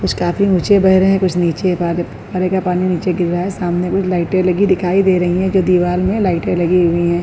कुछ काफी ऊंचे बह रहे हैं कुछ नीचे फुवारे का पानी नीचे गिर रहा है। सामने कुछ लाइटें लगी दिखाई दे रही है जो दीवार में लाइटें लगी हुई है।